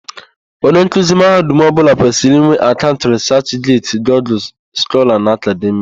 Onye nkuzi mahadum ọbụla kwesịrì ịnwe akaụnt rịsachget, Gugul Skọla na Akademịa.